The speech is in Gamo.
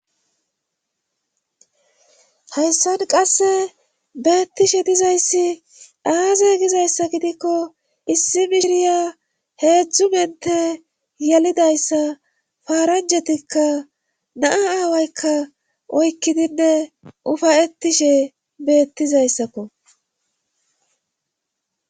hayssan qasse beethishe dizayssi aaze gizayssa gidiko issi mishiriya heedzdzu menthe yelidayssa paaranjjatikka na7a aawaykka oykkidinne ufa7ettishe beettizaysako